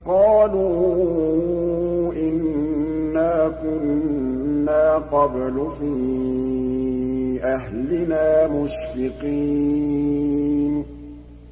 قَالُوا إِنَّا كُنَّا قَبْلُ فِي أَهْلِنَا مُشْفِقِينَ